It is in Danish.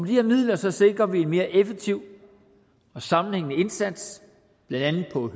her midler sikrer vi en mere effektiv og sammenhængende indsats blandt andet på